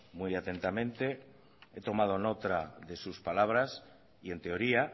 muy atentamente he tomado nota de sus palabras y en teoría